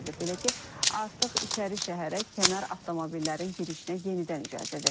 Belə ki, artıq İçərişəhərə kənar avtomobillərin girişinə yenidən icazə verilib.